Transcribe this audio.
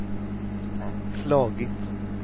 slagit